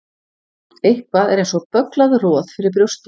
Eitthvað er eins og bögglað roð fyrir brjósti